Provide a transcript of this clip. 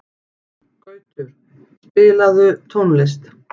Gautur, spilaðu tónlist.